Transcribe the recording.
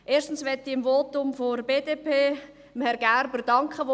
Erstes möchte ich Herrn Gerber von der BDP für sein Votum danken: